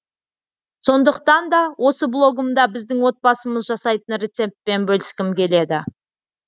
сондықтан да осы блогымда біздің отбасымыз жасайтын рецептпен бөліскім келеді